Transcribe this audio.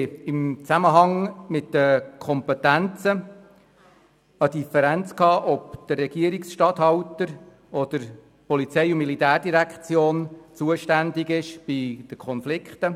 Im Zusammenhang mit den Kompetenzen gab es eine Differenz zur Frage, ob bei Konflikten der Regierungsstatthalter oder die POM zuständig sei.